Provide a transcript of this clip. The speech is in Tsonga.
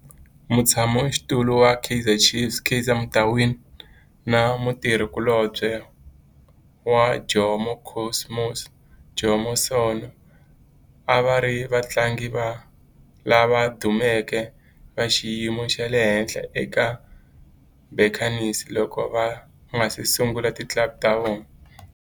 Mutshama xitulu wa Kaizer Chiefs Kaizer Motaung na mutirhi kulobye wa Jomo Cosmos Jomo Sono a va ri vatlangi lava dumeke va xiyimo xa le henhla eka Buccaneers loko va nga si sungula ti club ta vona.